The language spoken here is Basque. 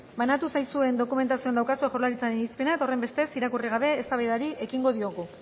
banatu zaizuen dokumentazioan daukazue jaurlaritzaren irizpena eta horrenbestez irakurri gabe eztabaidari ekingo diogu